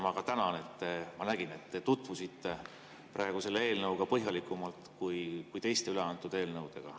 Ma tänan, sest ma nägin, et te tutvusite praegu selle eelnõuga põhjalikumalt kui teiste üleantud eelnõudega.